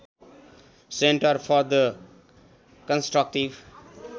centre for the constructive